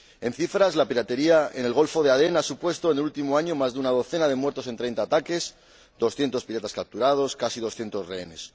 En cifras, la piratería en el Golfo de Adén ha supuesto en el último año más de una docena de muertos en 30 ataques, 200 piratas capturados, casi 200 rehenes